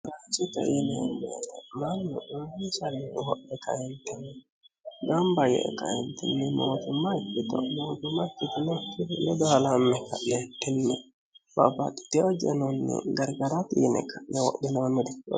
biraacho taiineemmeee mammi umicallihuhohe kayintinni gambayyee kaintinni mootumma ikkito mootumma kitinotiiledoalamme ka'leettinni babaxiteyojenonni gargara biine ka'newodhinoonniri